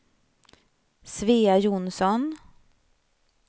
Svea Johnsson